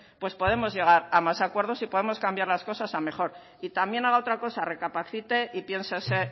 podemos llegar a más acuerdos y podemos cambiar las cosas a mejor y también haga otra cosa recapacite y piénsese